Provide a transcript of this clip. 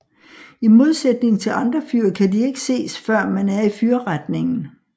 I modsætning til andre fyr kan de ikke ses før man er i fyrretningen